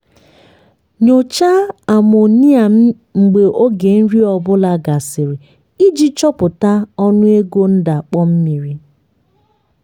nyochaa amonia mgbe oge nri ọ bụla gasịrị iji chọpụta ọnụego ndakpọ mmiri.